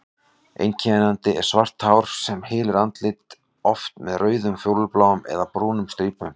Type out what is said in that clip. Einkennandi er svart hár sem hylur andlitið, oft með rauðum, fjólubláum eða brúnum strípum.